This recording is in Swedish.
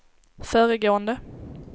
föregående